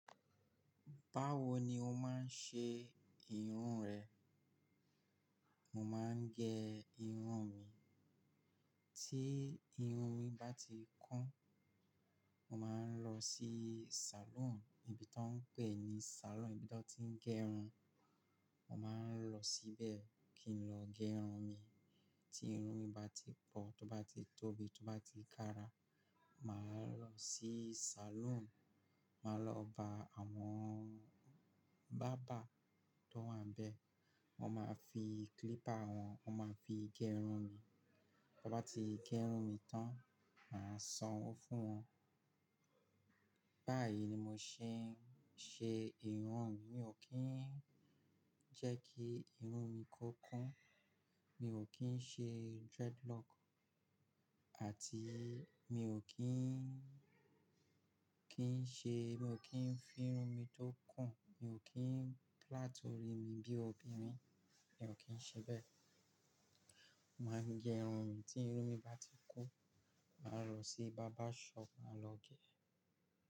Báwo ni o máa ń ṣe irun rẹ? Mo máa ń gẹ irun mi, tí irun mi bá ti kún, mo máa ń lọ sí salon, ibi tó ń pè ní salon, ibi tí wọ́n ti ń gẹ irun. Mo máa ń lọ síbẹ̀ kí n lọ gẹ irun mi. Tí irun mi bá ti pọ̀, tó bá ti tóbi, tó bá ti kára, màá lọ sí salon, màá lọ ba àwọn bàbá tó wà níbẹ̀, wọ́n máa fi clipper wọn, wọ́n máa fi gẹ irun mi. Wọ́n bá ti gẹ irun mi tán, màá sanwó fún wọn. Báyìí ni mo ṣe ń ṣe irun mi. Mi ò kí ń jẹ́ kí irun mi kó kún. Mi ò kí ń ṣe dreadlock àti mi ò kí ń, kí ń ṣe, mi ò kí ń fi irun mi tó kùn, mi ò kí ń plait orí mi bí obìnrin, mi ò kí ń ṣe bẹ́ẹ̀. Mo máa ń gẹ irun mi, tí irun mi bá ti kún, màá lọ sí barbershop, màá lọ gẹ̀ ẹ́.